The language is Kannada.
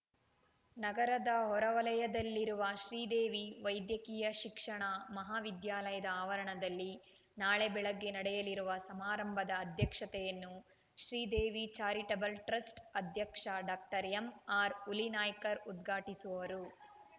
ನಗರದ ಹೊರವಲಯದಲ್ಲಿರುವ ಶ್ರೀದೇವಿ ವೈದ್ಯಕೀಯ ಶಿಕ್ಷಣ ಮಹಾವಿದ್ಯಾಲಯದ ಆವರಣದಲ್ಲಿ ನಾಳೆ ಬೆಳಗ್ಗೆ ನಡೆಯಲಿರುವ ಸಮಾರಂಭದ ಅಧ್ಯಕ್ಷತೆಯನ್ನು ಶ್ರೀದೇವಿ ಚಾರಿಟಬಲ್ ಟ್ರಸ್ಟ್ ಅಧ್ಯಕ್ಷ ಡಾಕ್ಟರ್ ಎಂ ಆರ್ ಹುಲಿನಾಯ್ಕರ್ ಉದ್ಘಾಟಿಸುವರು